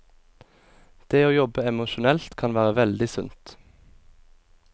Det å jobbe emosjonelt kan være veldig sundt.